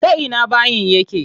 Ta ina bayin yake?